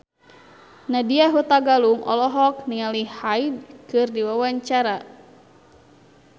Nadya Hutagalung olohok ningali Hyde keur diwawancara